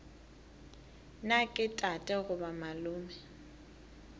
na ke tate goba malome